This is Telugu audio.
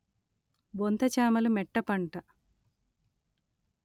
బొంత చామలు మెట్ట పంట